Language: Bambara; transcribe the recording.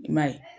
I m'a ye